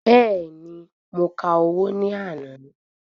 Bẹ́ẹ̀ni, mo ka owó ní àná.